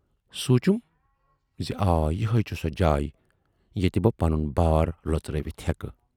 سونچُم زِ آ یِہےَ چھِ سۅ جاے ییتہِ بہٕ پنُن بار لۅژٕرٲوِتھ ہیکہٕ